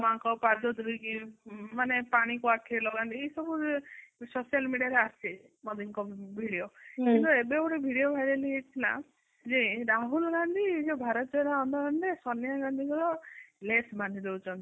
ମାଆଙ୍କ ପାଦ ଧୂଳି କି ମାନେ ପାଣି କୁ ଆଖିରେ ଲଗାନ୍ତି ଏଇ ସବୁ social media ରେ ଆସେ ମୋଦୀଙ୍କ video କିନ୍ତୁ ଏବେ ଗୋଟେ video ଭାଇରାଲ ହେଇଯାଇଥିଲା ଯେ ରାହୁଲ ଗାନ୍ଧୀ ଏ ଯୋଉ ଭାରତ ର ଆନ୍ଦୋଳନ ରେ ସୋନିୟା ଗାନ୍ଧୀଙ୍କର less ବାନ୍ଧି ଦୋଉଛନ୍ତି